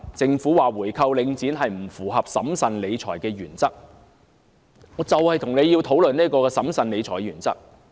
政府指回購領展不符合審慎理財的原則，就此，我便想和政府討論一下審慎理財的問題。